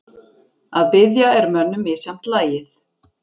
Að biðja er mönnum misjafnt lagið.